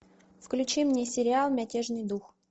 включи мне сериал мятежный дух